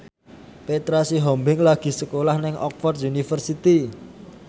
Petra Sihombing lagi sekolah nang Oxford university